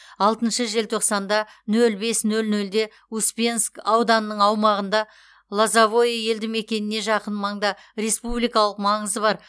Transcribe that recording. алтыншы желтоқсанда нөл бес нөл нөлде успенск ауданының аумағында лозовое елді мекеніне жақын маңда республикалық маңызы бар